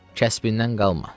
Kəsbimdən qalma.